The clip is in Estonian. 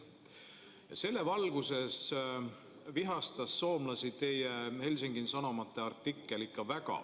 Selle teadmise valguses vihastas soomlasi teie Helsingin Sanomate artikkel ikka väga.